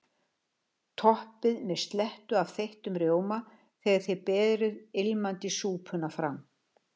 Toppið með slettu af þeyttum rjóma þegar þið berið ilmandi súpuna fram.